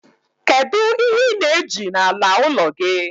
kedu ihe ị na-eji n'ala ụlọ gị?